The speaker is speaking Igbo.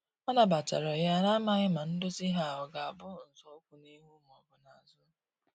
Ọ na batara ya, na amaghi ma ndozi ha ọga bụ nzọụkwụ n'ihu ma ọbụ n'azu